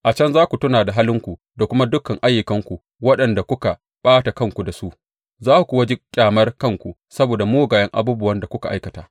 A can za ku tuna da halinku da kuma dukan ayyukanku waɗanda kuka ɓata kanku da su, za ku kuwa ji ƙyamar kanku saboda mugayen abubuwan da kuka aikata.